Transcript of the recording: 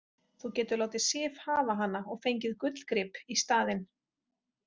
Þú getur látið Sif hafa hana og fengið gullgrip í staðinn